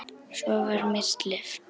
Svo var mér sleppt.